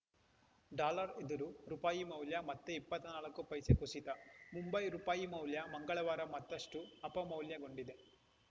dollar ಎದುರು ರುಪಾಯಿ ಮೌಲ್ಯ ಮತ್ತೆ ಇಪ್ಪತ್ತ್ ನಾಲ್ಕು ಪೈಸೆ ಕುಸಿತ ಮುಂಬೈ ರುಪಾಯಿ ಮೌಲ್ಯ ಮಂಗಳವಾರ ಮತ್ತಷ್ಟುಅಪಮೌಲ್ಯಗೊಂಡಿದೆ